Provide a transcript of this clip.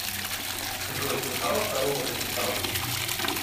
джой слыхала про робота титан